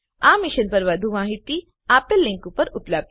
આ મિશન પર વધુ માહીતી આપેલ લીંક પર ઉપલબ્ધ છે